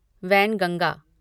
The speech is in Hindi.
वैनगंगा